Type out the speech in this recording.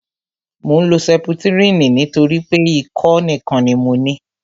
Mò ń lo sẹputirini nítorí pé ikọ́ nìkan ni mo ní